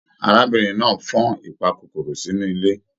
Arábìnrin náà fan ìpàkòkòrò sínú ilé.